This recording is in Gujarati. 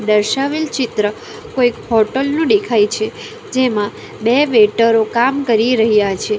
દર્શાવેલ ચિત્ર કોઈ હોટલ નું દેખાય છે જેમાં બે વેઇટરો કામ કરી રહ્યા છે.